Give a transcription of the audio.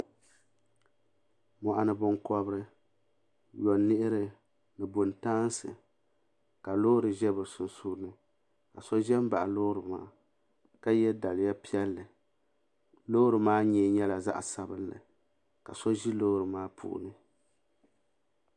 Moɣuni binkobri yoniɣi ni buntaansi ka loori ʒɛ bɛ sunsuuni ka so ʒɛ m baɣi loori maa ka ye daliya piɛlli loori maa nyee nyɛli zaɣa sabinli ka so ʒi loori maa puuni.